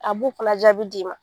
A b'u fana jaabi d'i ma